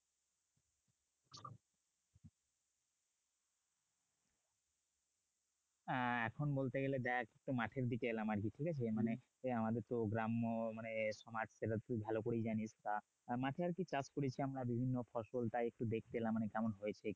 আহ এখন বলতে গেলে দেখ মাঠের দিকে এলাম আর কি ঠিক আছে মানে আমাদের তো গ্রাম্য মানে তুই ভাল করেই জানিস্ মাঠে আর কি চাষ করেছি আমরা বিভিন্ন ফসল তা একটু দেখতে এলাম মানে কেমন হয়েছে কিনা?